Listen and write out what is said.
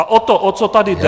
A o to, o co tady jde -